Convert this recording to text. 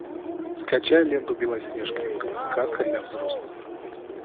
скачай ленту белоснежка сказка для взрослых